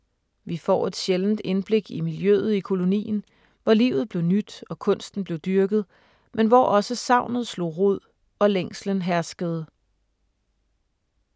Vi får et sjældent indblik i miljøet i kolonien, hvor livet blev nydt og kunsten blev dyrket, men hvor også savnet slog rod og længslen herskede.